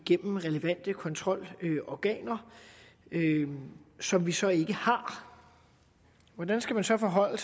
gennem relevante kontrolorganer som vi så ikke har hvordan skal vi så forholde